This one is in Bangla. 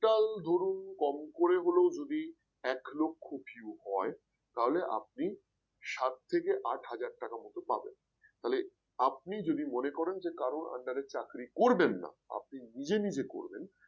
total ধরুন কম করে হলেও যদি এক লক্ষ view হয় তাহলে আপনি সাত থেকে আট হাজার টাকা মতন পাবেন তাহলে আপনি যদি মনে করেন কারণ under এ চাকরি করবেন না আপনি নিজে নিজে করবেন